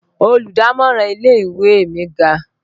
Olùdámọ̀ràn ilé ìwé mi ga